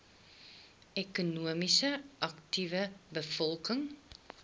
ekonomies aktiewe bevolking